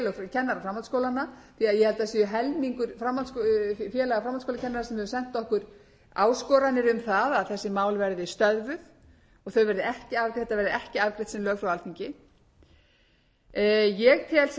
kennara framhaldsskólanna því ég held að það sé helmingur félaga framhaldsskólakennara sem hefur sent okkur áskoranir um það að þessi mál verði stöðvuð og þetta verði ekki afgreitt sem lög frá alþingi ég tel sem sagt og ég sé ekki annað heldur en að hér sér einhver